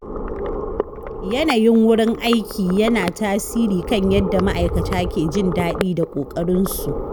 Yanayin wurin aiki yana tasiri kan yadda ma’aikata ke jin daɗi da ƙoƙarin su.